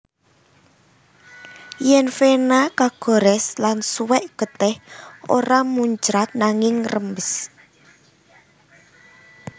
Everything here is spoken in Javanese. Yèn vena kagorès lan suwèk getih ora muncrat nanging ngrembes